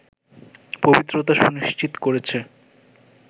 পবিত্রতা সুনিশ্চিত করেছে